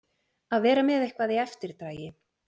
Að vera með eitthvað í eftirdragi